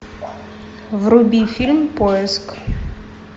вруби фильм поиск